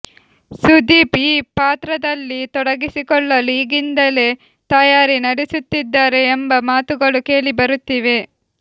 ಸುದೀಪ್ ಈ ಪಾತ್ರದಲ್ಲಿ ತೊಡಗಿಸಿಕೊಳ್ಳಲು ಈಗಿಂದಲೇ ತಯಾರಿ ನಡೆಸುತ್ತಿದ್ದಾರೆ ಎಂಬ ಮಾತುಗಳೂ ಕೇಳಿಬರುತ್ತಿವೆ